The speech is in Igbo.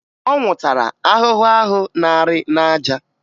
Ọ nwụtara ahụhụ ahụ na-arị n'aja